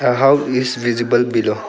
A house is visible below